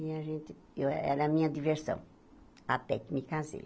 E a gente eu era a minha diversão, até que me casei.